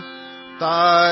so ಜಾವೋ ಸೋ ಜಾವೋ ಬೇಬಿ